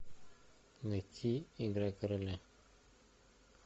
найти игра короля